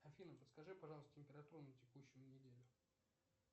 афина подскажи пожалуйста температуру на текущую неделю